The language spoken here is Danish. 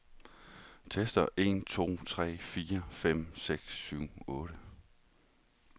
Tester en to tre fire fem seks syv otte.